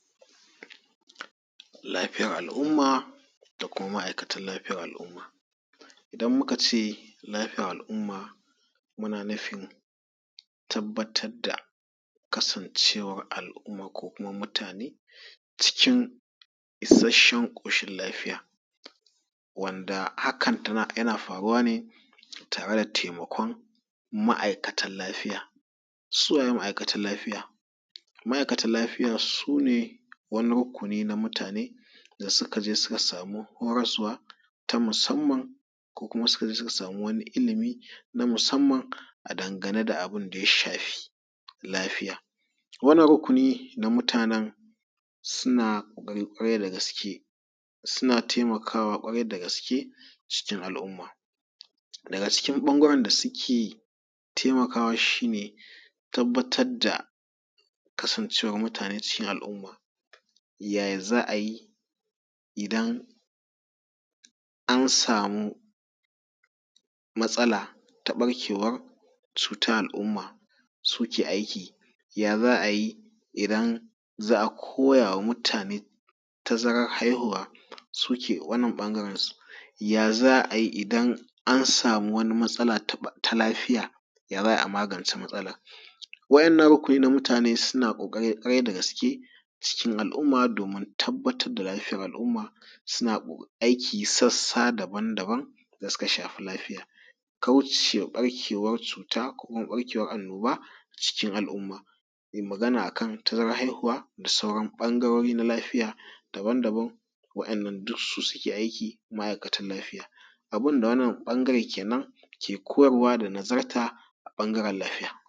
Lafiyar al'umma da kuma ma'aikatan lafiyar al'umma. Idan muka ce lafiyar al'umma muna nufin tabbatar da kasancewar al'umma ko kuma mutane cikin ishashshen ƙoshin lafiya wanda hakan yana faruwa ne tare da taimakon ma'aikatan lafiya. Su waye ma'aikatan lafiya? Ma'aikatan lafiya su ne wani ruƙuni na mutane da suka je suka samu horaswa ta musamman, ko kuma suka je suka samu ilimi na musamman a dangane da abun da ya shafi lafiya. Wannan rukuni na mutanan suna ƙoƙari ƙwarai da gaske, suna taimakawa ƙwarai da gaske cikin al'umma daga cikin ɓangaren da suke taimakawa shi ne tabbatar da kasancewan mutane cikin al'umma, ya ya za a yi idan an samu matsala ta barkewar cutan al'umma suke aiki ya za a yi idan za a koya wa mutane tazarar haihuwa, suke wannan ɓangaren su ya za a yi idan an samu wani matsala ta lafiya ya za a yi a magance matsalan? Wa’innan rukuni na mutane suna ƙoƙari ƙwarai da gaske cikin al'umma domin tabbatar da lafiyar al'umma. Suna aiki sassa daban daban da suka shafi lafiya kaucewa ɓarkewar cuta ko kuma ɓarkewan annoba cikin al'umma. Magana a kan tazarar haihuwa da sauran ɓangarori na lafiya daban daban wa’innan duk su suke aiki. Ma'aikatan lafiya abun da wannan bangaren kenan ke koyarwa da nazarta a ɓangaren lafiya.